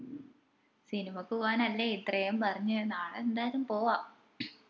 സിനിമക്ക് പോവ്വാനല്ലേ ഇത്രയും പറഞ്ഞെ നാളെ എന്താലും പോവ്വാ